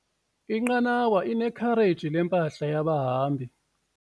Inqanawa inekhareji lempahla yabahambi.